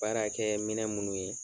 Baara kɛ minɛ munnu ye.